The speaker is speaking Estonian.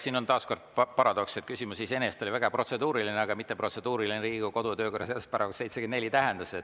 Siin on taas kord paradoks, et küsimus iseenesest oli väga protseduuriline, aga mitte protseduuriline Riigikogu kodu‑ ja töökorra seaduse § 74 tähenduses.